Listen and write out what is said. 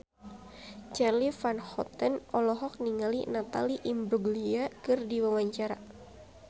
Charly Van Houten olohok ningali Natalie Imbruglia keur diwawancara